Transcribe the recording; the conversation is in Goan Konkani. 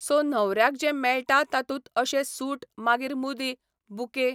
सो न्हवऱ्याक जें मेळटा तातूंत अशें सूट मागीर मुदी, बुके